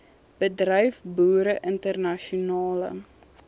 bedryf boere internasionale